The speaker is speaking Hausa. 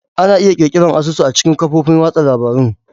Ana iya ƙirƙirar asusun a cikin kafofin watsa labarun.